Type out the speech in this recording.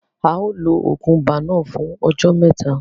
A ó lo oògùn ibà náà fún ọjọ́ mẹ́ta.